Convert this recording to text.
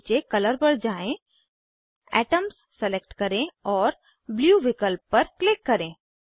नीचे कलर पर जाएँ एटम्स सलेक्ट करें और ब्लू विकल्प पर क्लिक करें